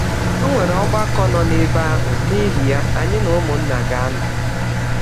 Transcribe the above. Ọnwere Ọgbakọ nọ n’ebe ahụ, n’ihi ya anyị na ụmụnna ga - anọ.